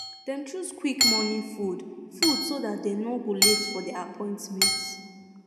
dem choose quick morning food food so that dem no go late for their appointments